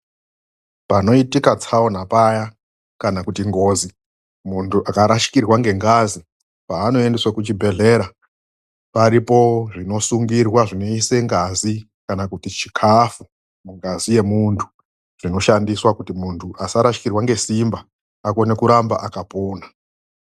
PANOITIKA TSAONA PAYA KANA KUTI NGOZI PARIPO ZVINOSUNGIRWA ZVINOISE NGAZI KANA KUTI CHIKAFU NGAZI YEMUNTU ZVINOSHANDISWA KUTI NGAZI YEMUNTU ZVINOSHANDISWA KUTI MUNHU ARAMBE AKAPONA